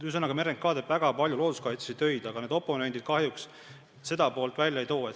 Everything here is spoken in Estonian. Ühesõnaga, RMK teeb väga palju looduskaitselisi töid, aga oponendid kahjuks sellest poolest ei räägi.